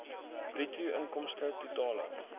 bruto inkomste totale